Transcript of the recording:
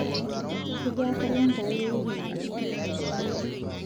kejaa kalenda aai ewiki nalotu